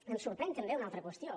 em sorprèn també una altra qüestió